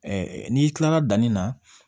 n'i kilala danni na